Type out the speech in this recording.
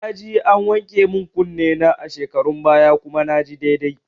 Naje an wanke min kunne na a shekarun baya kuma naji daidai